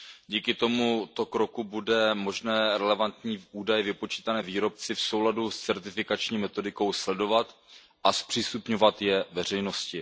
Díky tomuto kroku bude možné relevantní údaje vypočítané výrobci v souladu s certifikační metodikou sledovat a zpřístupňovat je veřejnosti.